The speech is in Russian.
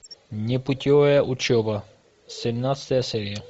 непутевая учеба семнадцатая серия